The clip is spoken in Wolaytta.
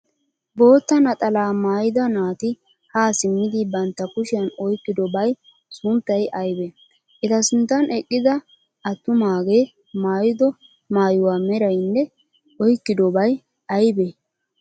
Bootta naxalaa mayyida naati haa simmidi bantta kushiyan oyikkidobay sunttay ayibee? Eta sinttan eqqida attumaagee mayyido mayuwa merayinne oyikkidobay ayibee?